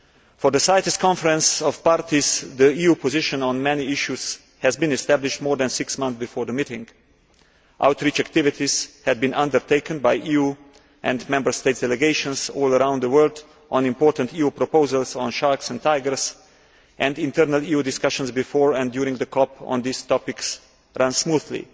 For the CITES Conference of Parties, the EU position on many issues had been established more than six months before the meeting, outreach activities have been undertaken by EU and Member State delegations all around the world on important EU proposals on sharks and tigers, and internal EU discussions before and during the CoP on those topics ran smoothly.